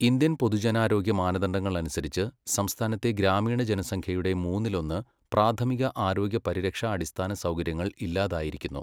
Indian പൊതുജനാരോഗ്യ മാനദണ്ഡങ്ങൾ അനുസരിച്ച് സംസ്ഥാനത്തെ ഗ്രാമീണ ജനസംഖ്യയുടെ മൂന്നിലൊന്ന് പ്രാഥമിക ആരോഗ്യ പരിരക്ഷാ അടിസ്ഥാന സൗകര്യങ്ങൾ ഇല്ലാതായിരിക്കുന്നു.